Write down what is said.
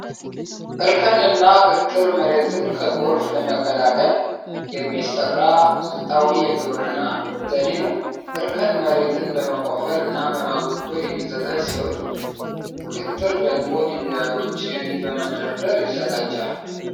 እርከን እና ክትር መሬትን ከጎርፍ ለመከላከል የሚሰራ ስልታዊ የግብርና ዘዴ ነው። እርከን መሬትን በመቆፈር እና በማጎድጎድ የሚዘጋጅ ሲሆን ክትር ደግሞ ድንጋዮች በመደርደር ይዘጋጃል።